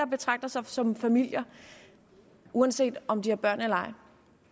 betragter sig som familier uanset om de har børn eller